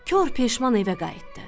Kor peşman evə qayıtdı.